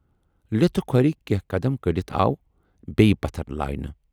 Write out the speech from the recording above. لِتھٕ کھُرِ کینہہ قدم کٔڈِتھ آو بییہِ پتھر لاینہٕ۔